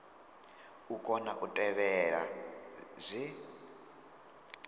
u kona u tevhela zwe